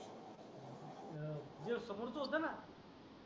हे समोरचं होतो ना